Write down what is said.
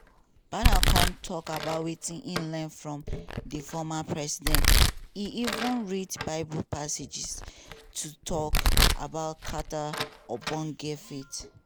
biden kon tok about wetin e learn from di former president e even read bible passages to tok about carter ogbonge faith.